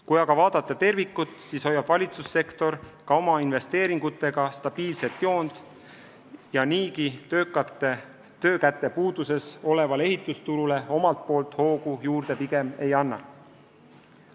Kui aga vaadata tervikut, siis hoiab valitsussektor ka oma investeeringutega stabiilset joont ja niigi töökate töökäte puuduses olevale ehitusturule omalt poolt hoogu juurde pigem ei anna.